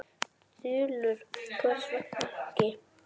Þulur: Hvers vegna ekki?